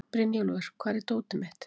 Brynjúlfur, hvar er dótið mitt?